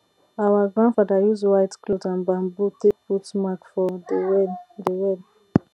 our grandfather use white cloth and bamboo take put mark for de well de well